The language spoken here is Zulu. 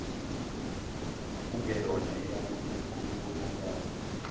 kungeyona eyamaphupho ibonakala